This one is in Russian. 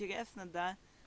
интересно да